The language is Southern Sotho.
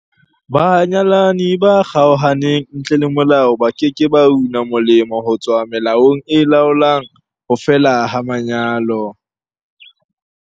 Banyalani ba kgaohaneng ntle le molao ba ke ke ba una molemo ho tswa melaong e laolang ho fela ha lenyalo.